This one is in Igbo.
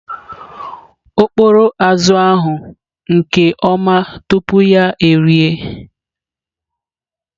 Ọ kpọrọ azụ̀ ahụ nke ọma tupu ya erie.